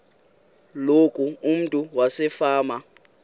loku umntu wasefama